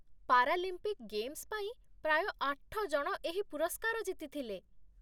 Paralympic games ପାଇଁ ପ୍ରାୟ ଆଠ ଜଣ ଏହି ପୁରସ୍କାର ଜିତିଥିଲେ।